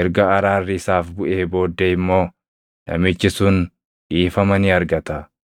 erga araarri isaaf buʼee booddee immoo namichi sun dhiifama ni argata.